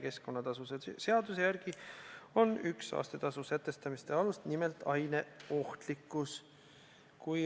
Keskkonnatasude seaduse järgi on üks saastetasude sätestamise alus nimelt aine ohtlikkus.